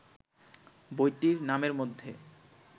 বইটির নামের মধ্যে